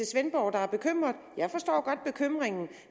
svendborg der er bekymret jeg forstår godt bekymringen